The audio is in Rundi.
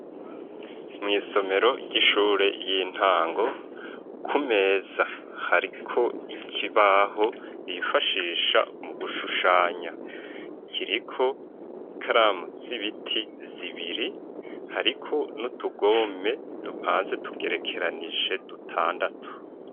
Mu isomero ry'ishure y'intango ku meza hariko ikibaho bifashisha mu gushushanya kiriko ikaramu z'ibiti zibiri hariko n'utugome dupanze tugerekeranije dutandatu.